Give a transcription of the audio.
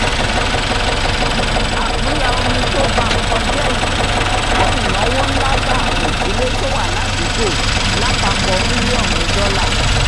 àkúnya omi tó ba nǹkan jẹ́ yìí kó ìnáwó ǹlà bá àwọn ìdílé tó wà ládùúgbò lapapọ miliọnu dọ́là